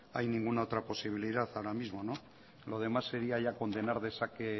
hay ninguna otra posibilidad ahora mismo no lo demás sería ya condenar de saque